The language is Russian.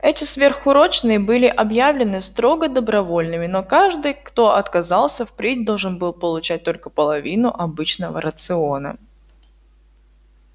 эти сверхурочные были объявлены строго добровольными но каждый кто отказался впредь должен был получать только половину обычного рациона